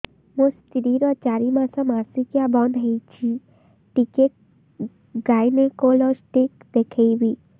ମୋ ସ୍ତ୍ରୀ ର ଚାରି ମାସ ମାସିକିଆ ବନ୍ଦ ହେଇଛି ଟିକେ ଗାଇନେକୋଲୋଜିଷ୍ଟ ଦେଖେଇବି